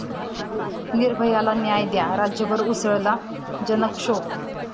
निर्भया'ला न्याय द्या, राज्यभर उसळला जनक्षोभ